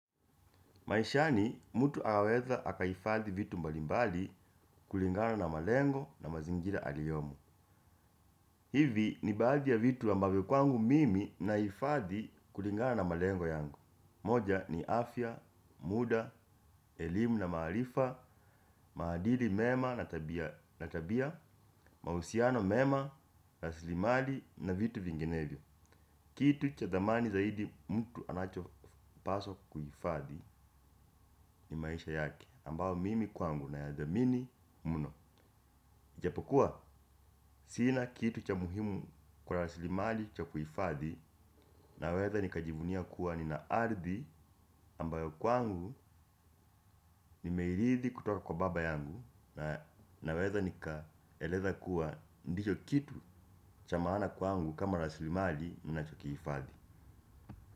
Maishani mtu aweza akahifadhi vitu mbalimbali kulingana na malengo na mazingira aliyomo. Hivi ni baadhi ya vitu ambavyo kwangu mimi nahifadhi kulingana na malengo yangu. Moja ni afya, muda, elimu na maarifa, maadili mema na tabia, mahusiano mema, rasilimali na vitu vinginevyo. Kitu cha thamani zaidi mtu anachopaswa kuhifadhi ni maisha yake ambao mimi kwangu nayathamini mno ijapokuwa, sina kitu cha muhimu kwa rasilimali cha kuhifadhi naweza nikajivunia kuwa nina ardhi ambayo kwangu nimeiridhi kutoka kwa baba yangu naweza nikaeleza kuwa ndicho kitu cha maana kwangu kama rasilimali ninachokihifadhi.